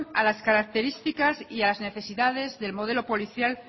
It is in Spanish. a las características y a las necesidades del modelo policial